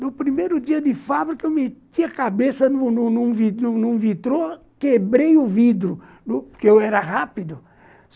No primeiro dia de fábrica, eu meti a cabeça num num num num vitrô, quebrei o vidro, porque eu era rápido.